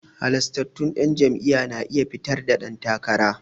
Halastattun 'yan jam'iyya na iya fitar da dan takara.